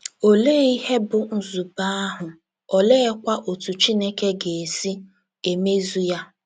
Olee ihe bụ́ nzube ahụ, oleekwa otú Chineke ga - esi emezu ya?